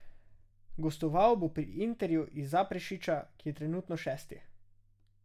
Gostoval bo pri Interju iz Zaprešića, ki je trenutno šesti.